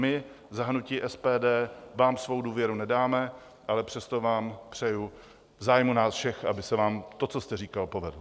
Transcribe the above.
My za hnutí SPD vám svou důvěru nedáme, ale přesto vám přeju v zájmu nás všech, aby se vám to, co jste říkal, povedlo.